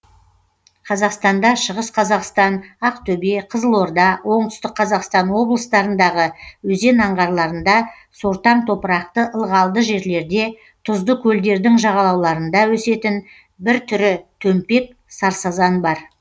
қазақстанда шығыс қазақстан ақтөбе қызылорда оңтүстік қазақстан облыстарындағы өзен аңғарларында сортаң топырақты ылғалды жерлерде тұзды көлдердің жағалауларында өсетін бір түрі төмпек сарсазан бар